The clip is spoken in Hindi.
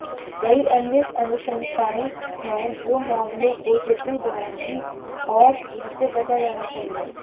कई अन्य अनुशंसाएं हैं जो मामलों को जटिल बनाएंगी और जिनसे बचा जाना चाहिए